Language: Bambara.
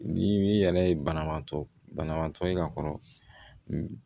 Ni i yɛrɛ ye banabaatɔ banabaatɔ ye ka kɔrɔ